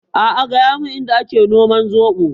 A'a gaya mun Inda a ke noman zoɓo.